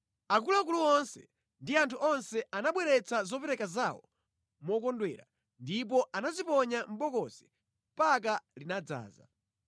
Akuluakulu onse ndi anthu onse anabweretsa zopereka zawo mokondwera ndipo anaziponya mʼbokosi mpaka linadzaza.